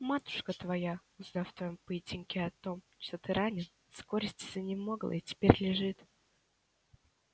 матушка твоя узнав о твоём поединке и о том что ты ранен с горести занемогла и теперь лежит